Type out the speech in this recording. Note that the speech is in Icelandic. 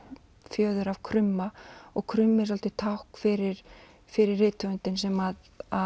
fjöður af krumma og krummi er svolítið tákn fyrir fyrir rithöfundinn sem